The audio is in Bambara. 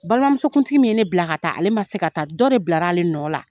Balimamusokuntigi min ye ne bila ka taa ale man se ka taa dɔ de bilara ale nɔ la.